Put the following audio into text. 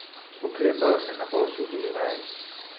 Oklepajo se napol suhih vej.